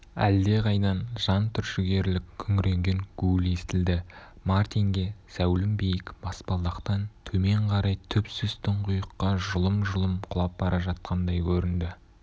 әлдеқайдан жан түршігерлік күңіренген гуіл естілді мартинге зәулім биік баспалдақтан төмен қарай түпсіз тұңғиыққа жұлым-жұлым құлап бара жатқандай көрінді